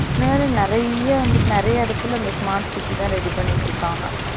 இந்த மாதிரி நெறைய வந்துட்டு நெறைய இடத்துல இந்த smart city தான் ready பண்ணிட்டு இருக்காங்க